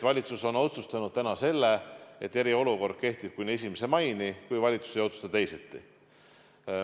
Valitsus on otsustanud selle, et eriolukord kehtib kuni 1. maini, kui valitsus ei otsusta teisiti.